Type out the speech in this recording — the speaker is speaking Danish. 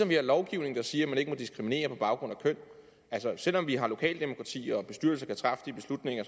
vi har lovgivning der siger at man ikke må diskriminere på baggrund af køn og selv om vi har lokalt demokrati og bestyrelser kan træffe de beslutninger